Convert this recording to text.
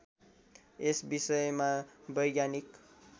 यस विषयमा वैज्ञानिक